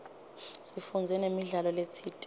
sifundze namidlalo letsite